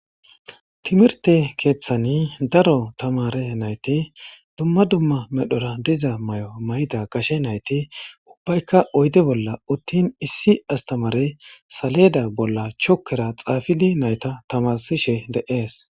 Timrte kethan daro tamare nayt dumma dumma medhora diza mayo mayida gashe nayti ubbayka oyde bolla utin issi astamarey saleda bola chokera xafid nayta tamarishe de'es.